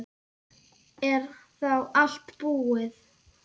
Er þá allt búið?